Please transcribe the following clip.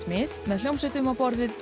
mið með hljómsveitum á borð við